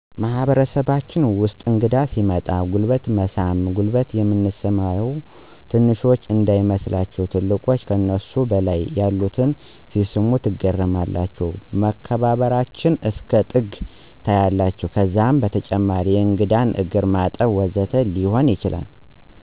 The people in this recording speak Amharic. በማህበረሰባችን ውስጥ እንግዳ ሲመጣ ጉልበት በመሳም ጉልበት የምንስመው ትንንሾች እንዳይመስላችሁ ትልልቆች ከነሱ በላይ ያሉትን ሲስሙ ትገረማላችሁ መከባበበራቸው እስከ ጥግ ታያላችሁ ከዛም በተጨማሪ የእንግዳን እግርማጠብ ወዘተ ሊሆኑ ይችላሉ።